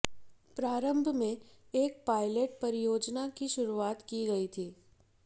प्रारंभ में एक पायलट परियोजना की शुरूआत की गई थी